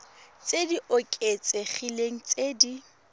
tse di oketsegileng tse di